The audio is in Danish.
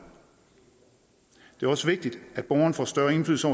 det er også vigtigt at borgeren får større indflydelse